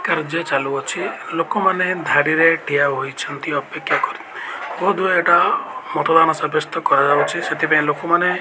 କାର୍ଯ୍ୟ ଚାଲୁଅଛି ଲୋକମାନେ ଧାଡ଼ିରେ ଠିଆ ହୋଇଛନ୍ତି ଅପେକ୍ଷା କରି ବୋଧ ହୁଏ ଏଇଟା ମଥୁରାନା ସାବ୍ୟସ୍ତ କରା ଯାଉଛି ସେଥି ପାଇଁ ଲୋକମାନେ --